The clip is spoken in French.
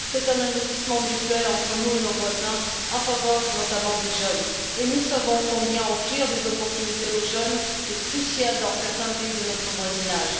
C'est un investissement mutuel entre nous et nos voisins en faveur, notamment, des jeunes, et nous savons combien il est crucial d'offrir des opportunités aux jeunes dans certains pays de notre voisinage.